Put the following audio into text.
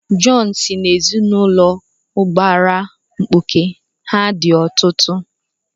Jọn si n'ezinụlọ ụbara mkpuke, ha dị ọtụtụ.